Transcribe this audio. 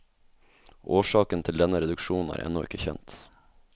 Årsaken til denne reduksjon er ennå ikke kjent.